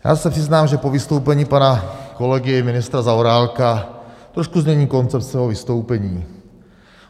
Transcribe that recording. Já se přiznám, že po vystoupení pana kolegy ministra Zaorálka trošku změním koncept svého vystoupení.